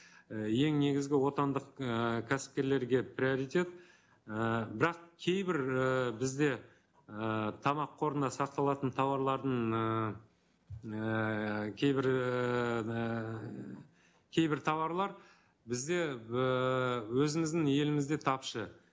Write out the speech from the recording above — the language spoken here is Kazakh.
і ең негізгі отандық ііі кәсіпкерлерге приоритет ііі бірақ кейбір ііі бізде ііі тамақ қорында сақталатын тауарлардың ыыы ііі кейбір ііі кейбір тауарлар бізде ііі өзіміздің елімізде тапшы